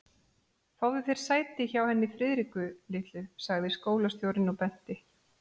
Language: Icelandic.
Fáðu þér sæti hjá henni Friðriku litlu sagði skólastjórinn og benti